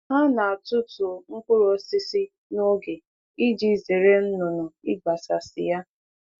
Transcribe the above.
Ha na-atutu mkpụrụ osisi n'oge iji zere nnụnụ igbasasi ya.